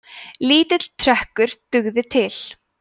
lítill trekkur dugði til